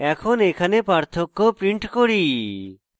এখন এখানে পার্থক্য print করি